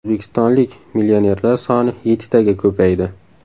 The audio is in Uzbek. O‘zbekistonlik millionerlar soni yettitaga ko‘paydi.